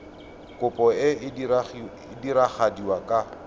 kopo e e diragadiwa ka